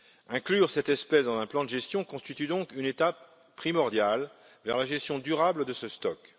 Inclure cette espèce dans un plan de gestion constitue donc une étape primordiale vers la gestion durable de ce stock.